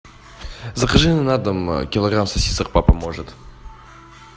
закажи на дом килограмм сосисок папа может